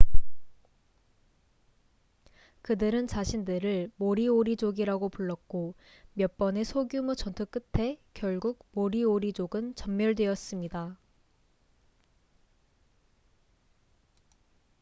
그들은 자신들을 모리오리족이라고 불렀고 몇 번의 소규모 전투 끝에 결국 모리오리족은 전멸되었습니다